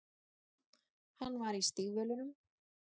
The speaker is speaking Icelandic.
Hann var í stígvélunum.